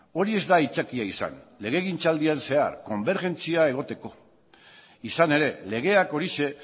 hori ez da aitzakia izan legegintzaldian zehar konbergentzia egoteko izan ere legeak horixe